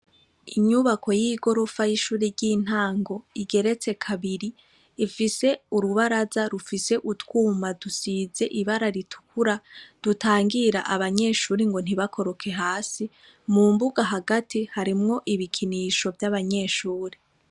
Inyubako y'igorofa y'ishuri ry'intango igeretse kabiri, ifise urubaraza rusize rufise utwuma dutukura dutangira abanyeshure ngo ntibakoroke hasi, mu mbuga hagati harimwo ibikinisho vy'abanyeshure.